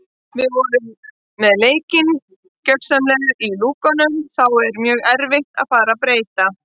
Við vorum með leikinn gjörsamlega í lúkunum þá er mjög erfitt að fara að breyta.